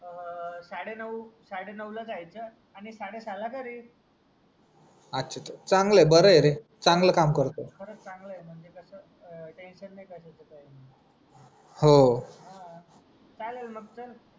साडे नव साडे नवला जायचा आणि साडे सहा ला घरी अच्छा त मं चांगलंय रे बराय रे चांगला काम करतोय खरंच चांगलंय म्हणजे काय टेन्शन नाय कशाचा काय हो हा चालेल मग चल